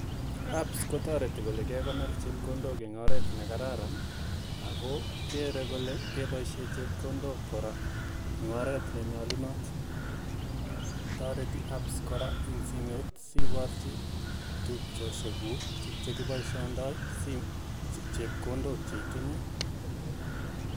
Apps kotoreti kole kekonor chepkondok eng oret nekararan ako kerei kole keboishe chepkondok kora eng oret nenyolunot. Toreti apps kora eng simet siporchi tupchoshekuk tukchekipoishoitoi chepkondok cheitinye.